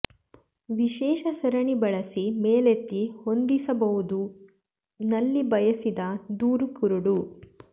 ವಿಶೇಷ ಸರಣಿ ಬಳಸಿ ಮೇಲೆತ್ತಿ ಹೊಂದಿಸಬಹುದು ನಲ್ಲಿ ಬಯಸಿದ ದೂರ ಕುರುಡು